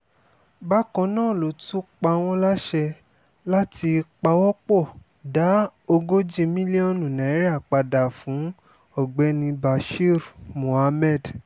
bákan náà ló tún pa wọ́n láṣẹ láti pawọ́-pọ̀ dá ogójì mílíọ̀nù naira padà fún ọ̀gbẹ́ni bashir muhammad